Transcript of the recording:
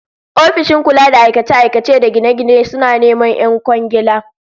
Ofishin kula da aikace-aikace da gine-gine suna neman 'yan kwangiila